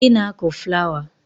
Ị na-akụ flawa